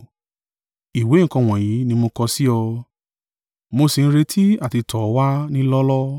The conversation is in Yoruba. Ìwé nǹkan wọ̀nyí ni mo kọ sí ọ, mo sì ń retí àti tọ̀ ọ́ wá ní lọ́ọ́lọ́ọ́.